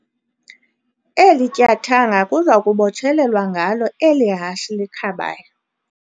Eli tyathanga kuza kubotshelelwa ngalo eli hashe likhabayo.